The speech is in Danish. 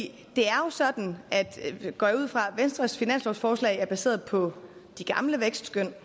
det er jo sådan går jeg ud fra at venstres finanslovsforslag er baseret på de gamle vækstskøn